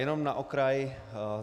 Jenom na okraj.